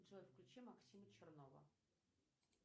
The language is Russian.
джой включи максима чернова